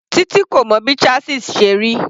Titi kò mọ bí chasis ṣe rí.